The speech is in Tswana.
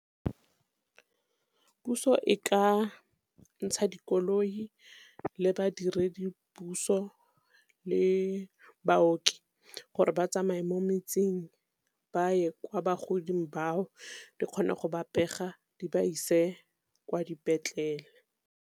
Puso e ka ntsha dikoloi le badiredipuso le baoki gore ba tsamaya mo metseng, ba ye kwa bagodi bao di kgone go ba pega di ba ise kwa dipetlele.